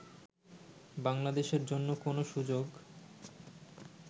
বাংলাদেশের জন্য কোন সুযোগ